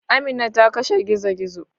Amina ta kashe gizo-gizo.